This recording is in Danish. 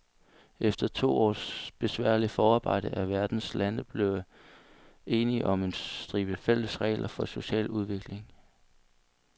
Efter to års besværligt forarbejde er verdens lande blevet enige om en stribe fælles regler for social udvikling.